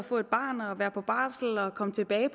at få et barn og har været på barsel og er kommet tilbage